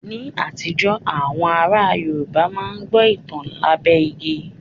Ní àtijọ́, àwọn ará Yorùbá máa ń gbọ́ ìtàn lábẹ́ igi